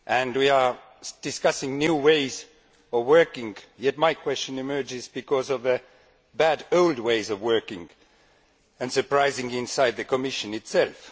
We are discussing new ways of working, but my question relates to the bad old ways of working, and surprisingly inside the Commission itself.